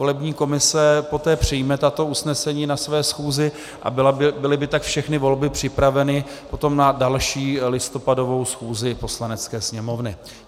Volební komise poté přijme tato usnesení na své schůzi, a byly by tak všechny volby připraveny potom na další, listopadovou schůzi Poslanecké sněmovny.